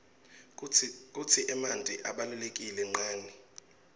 kutsi emanti abaluleke nqani